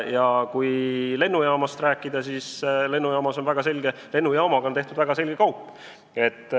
Ja kui lennujaamast rääkida, siis lennujaamaga on tehtud väga selge kaup.